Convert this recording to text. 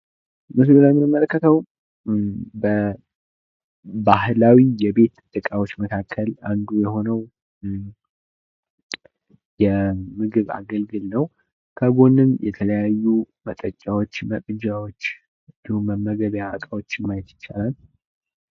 ምስሉ ላይ የምንመለከተዉ በባህላዊ የቤት እቃዎች መካከል አንዱ የሆነዉ የምግብ አገልግል ነዉ። ከጎንም የተለያዩ መጠጫዎች፣ መቅጃዎች እንዲሁ መመገቢያ እቃዎችን ማየት ይቻላል።